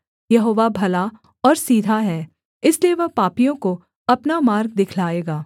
यहोवा भला और सीधा है इसलिए वह पापियों को अपना मार्ग दिखलाएगा